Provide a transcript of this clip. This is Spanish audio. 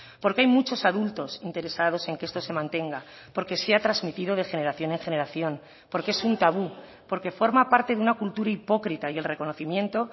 porque hay muchos adultos interesados en que esto se mantenga porque se ha transmitido de generación en generación porque es un tabú porque forma parte de una cultura hipócrita y el reconocimiento